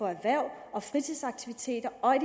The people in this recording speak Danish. erhverv og fritidsaktiviteter og i